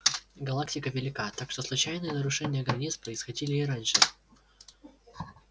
галактика велика так что случайные нарушения границ происходили и раньше